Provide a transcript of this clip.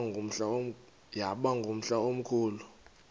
yaba ngumhla omkhulu